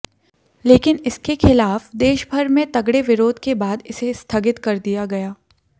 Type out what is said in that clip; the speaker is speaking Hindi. लेकिन इसके खिलाफ देशभर में तगड़े विरोध के बाद इसे स्थगित कर दिया गया